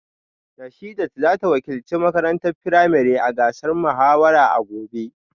Rashidat za ta wakilci makarantar firamare a gasar muhawara a gobe